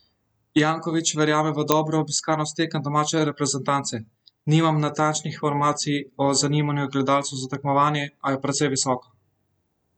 Janković verjame v dobro obiskanost tekem domače reprezentance: "Nimam natančnih informacij o zanimanju gledalcev za tekmovanje, a je precej visoko.